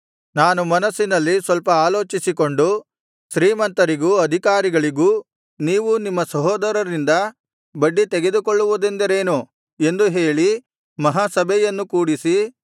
ನಾನು ಮನಸ್ಸಿನಲ್ಲಿ ಸ್ವಲ್ಪ ಆಲೋಚಿಸಿಕೊಂಡು ಶ್ರೀಮಂತರಿಗೂ ಅಧಿಕಾರಿಗಳಿಗೂ ನೀವು ನಿಮ್ಮ ಸಹೋದರರಿಂದ ಬಡ್ಡಿ ತೆಗೆದುಕೊಳ್ಳುವುದೆಂದರೇನು ಎಂದು ಹೇಳಿ ಮಹಾಸಭೆಯನ್ನು ಕೂಡಿಸಿ